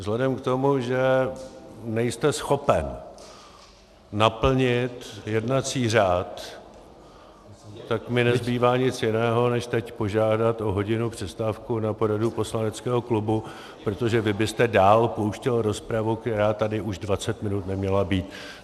Vzhledem k tomu, že nejste schopen naplnit jednací řád, tak mi nezbývá nic jiného, než teď požádat o hodinovou přestávku na poradu poslaneckého klubu, protože vy byste dál pouštěl rozpravu, která tady už 20 minut neměla být.